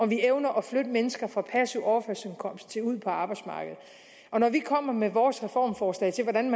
vi evner at flytte mennesker fra passiv overførselsindkomst til ud på arbejdsmarkedet når vi kommer med vores reformforslag til hvordan